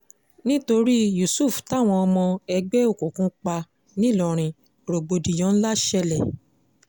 nítorí yusuf táwọn ọmọ ẹgbẹ́ òkùnkùn pa nìlọrin rògbòdìyàn ńlá ṣẹlẹ̀